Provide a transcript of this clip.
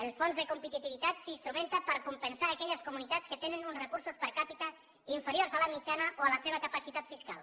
el fons de competitivitat s’instrumenta per compensar aquelles comunitats que tenen uns recursos per capitamitjana o a la seva capacitat fiscal